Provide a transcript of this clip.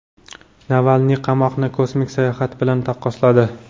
Navalniy qamoqni kosmik sayohat bilan taqqosladi.